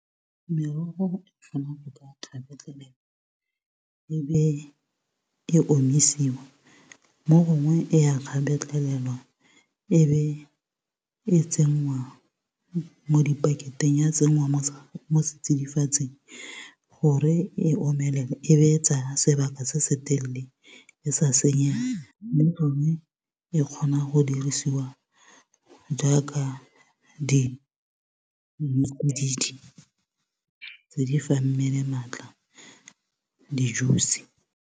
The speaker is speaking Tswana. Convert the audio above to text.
Merogo e kgona go ka kgabetlhelelwa, e be e omisiwa. Mo gongwe e ya kgabetlhelelwa e be e tsenngwa mo di paketeng, ya tsenngwa mo mo setsidifatsing. Gore e omelele e be e etsa sebaka se se telele e sa senyege. Mme gongwe e ke kgona go dirisiwa jaaka tse di fang mmele maatla di-juice.